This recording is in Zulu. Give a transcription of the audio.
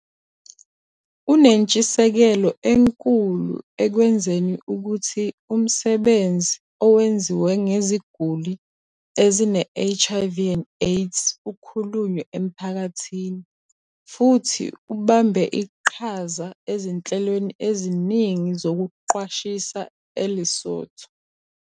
Unentshisekelo enkulu ekwenzeni ukuthi umsebenzi owenziwe ngeziguli ezine-HIV and AIDS ukhulunywe emphakathini, futhi ubambe iqhaza ezinhlelweni eziningi zokuqwashisa eLesotho.